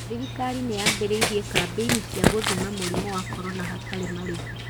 Thirikari nĩ yambĩrĩirie kambĩini cia gũthima mũrimũ wa corona hatarĩ marĩhi.